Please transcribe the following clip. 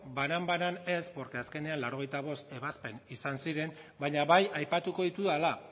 banan banan ez porque azkenean laurogeita bost ebazpen izan ziren baina bai aipatuko ditudala